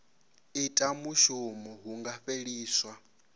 ita mushumo hu nga fheliswa